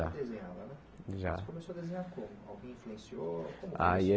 Já desenhsva né Já Você começou a desenhar quando alguém te influenciou Aí é